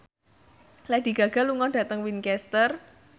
Lady Gaga lunga dhateng Winchester